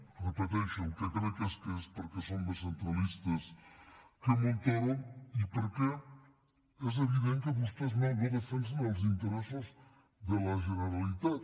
ho repeteixo el que crec és que és perquè són més centralistes que montoro i perquè és evident que vostès no defensen els interessos de la genera litat